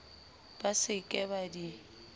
ba se ke ba di